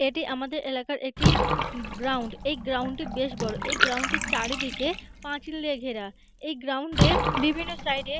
এটি আমাদের এলাকার এটি গ্রাউন্ড এই গ্রাউন্ডে বেশ বড় এই গ্রাউন্ড -টি চারিদিকে পাঁচিল দিয়ে ঘেরা এই গ্রাউন্ড -এ বিভিন্ন সাইড - এ --